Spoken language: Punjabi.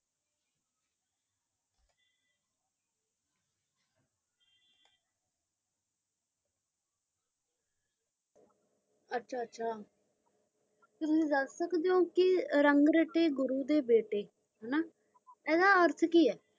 ਅਚਾ ਅਚਾ ਤੁਸੀ ਦਾਸ ਸਕਦੇ ਓ ਕ ਰੰਗ ਰਾਇਤੇ ਗੁਰੂ ਦੇ ਬੀਤੇ ਹੈਨਾ। ਐਡਾ ਅਰਥ ਕਿ ਹੈ?